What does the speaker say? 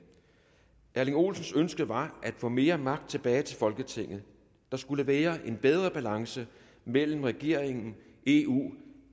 erling olsens ønske var at få mere magt tilbage til folketinget der skulle være en bedre balance mellem regeringen eu